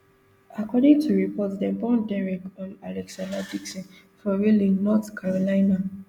according to reports dem born derek um alexander dixon for raleigh north carolina